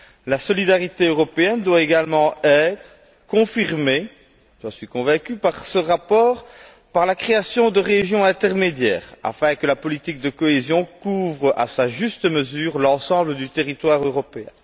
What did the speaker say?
La solidarité européenne doit également être confirmée j'en suis convaincu par ce rapport par la création de régions intermédiaires afin que la politique de cohésion couvre à sa juste mesure l'ensemble du territoire européen.